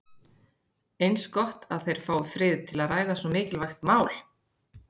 Eins gott að þeir fái frið til að ræða svo mikilvægt mál.